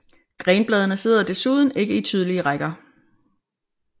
Grenbladene sidder desuden ikke i tydelige rækker